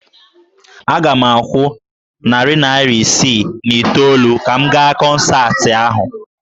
Aga m akwụ narị naira isii na itoolu ka m gaa kọnsaatị ahụ